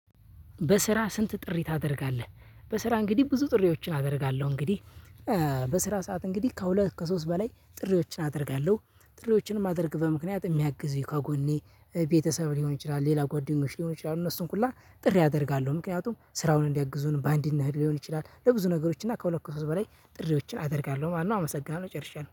በስራ ስንት ጥሪ ታደርጋለ? በስራ እንግዲህ ብዙ ጥሪዎችን አደርጋለሁ። እንግዲህ በስራ ሰዓት እንግዲህ ከሁለት ከሶስት በላይ ጥሪዎችን አደርጋለሁ። ጥሪዎችን የማድርግቤት በምክንያት የሚያግዙኝ ከጎኔ ቤተሰብ ሊሆን ይችላል ሌላ ጓደኞች ሊሆን ይችላል እነሱን ሁላ ጥሪ አደርጋለሁ። ምክንያቱም ስራውን እንዲያግዙን በአንድ አናድገው ሊሆን ይችላል ለብዙ ነገሮች እና ከሁለት ሺህ ሶስት በላይ ጥሪዎችን አደርጋለሁ ማለት ነው አመሰግናለሁ። ጨርሻለሁ።